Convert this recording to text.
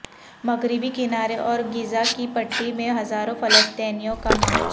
مغربی کنارے اور غزہ کی پٹی میں ہزاروں فلسطینیوں کا مارچ